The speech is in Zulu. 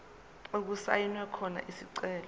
okusayinwe khona isicelo